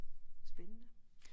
Spændende